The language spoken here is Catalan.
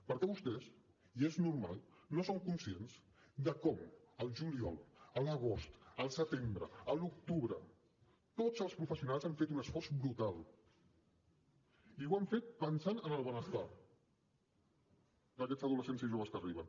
perquè vostès i és normal no són conscients de com al juliol a l’agost al setembre a l’octubre tots els professionals han fet un esforç brutal i l’han fet pensant en el benestar d’aquests adolescents i joves que arriben